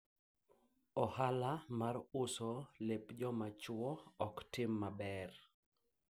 biashara ya kuuza nguo za wanaume haifanyi vizuri